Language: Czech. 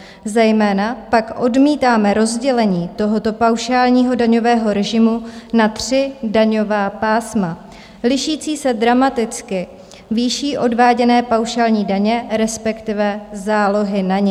Zejména pak odmítáme rozdělení tohoto paušálního daňového režimu na tři daňová pásma lišící se dramaticky výší odváděné paušální daně, respektive zálohy na ni.